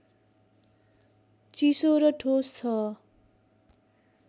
चिसो र ठोस छ